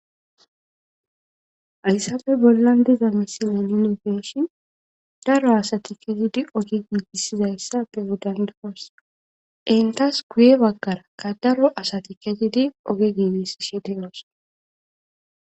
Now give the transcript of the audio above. Hayssappe bollan diza misilena nuni be7ishin daro asati keehidi oge giigissizayssappe be7o dando7os. Entas guye baggarakka daro asati kezdi oge giigishe de7oosona.